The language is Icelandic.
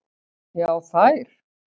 Já þær.